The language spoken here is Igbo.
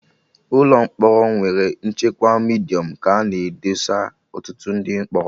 Ụlọ mkpọrọ nwere nchekwa Midiọm ka a na edesa ọtụtụ ndị mkpọrọ